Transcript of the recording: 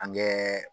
An kɛ